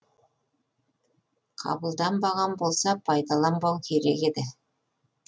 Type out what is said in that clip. қабылданбаған болса пайдаланбау керек еді